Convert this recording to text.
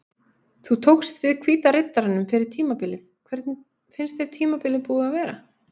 Þú tókst við Hvíta Riddaranum fyrir tímabilið hvernig finnst þér tímabilið búið að vera?